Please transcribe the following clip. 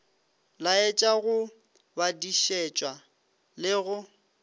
laetša go badišišwa le go